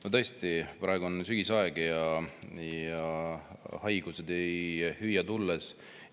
No tõesti, praegu on sügisaeg ja haigused ei hüüa tulles.